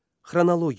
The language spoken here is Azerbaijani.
Xronologiya.